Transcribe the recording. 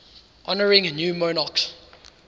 honouring new monarchs